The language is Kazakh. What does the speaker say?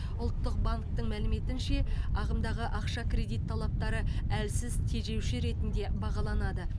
ұлттық банктың мәліметінше ағымдағы ақша кредит талаптары әлсіз тежеуші ретінде бағаланады